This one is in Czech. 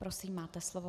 Prosím, máte slovo.